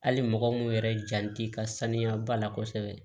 Hali mɔgɔ mun yɛrɛ jan t'i ka saniya ba la kosɛbɛ